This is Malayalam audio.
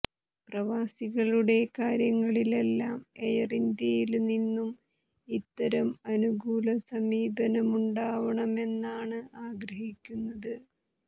പ്രവാസികളുടെ കാര്യങ്ങളിലെല്ലാം എയര് ഇന്ത്യയില് നിന്നും ഇത്തരം അനുകൂല സമീപനമുണ്ടാവണമെന്നാണ്ആഗ്രഹിക്കുന്നത്